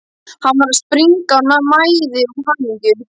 Hann var að springa af mæði og hamingju.